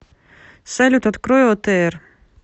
салют открой отр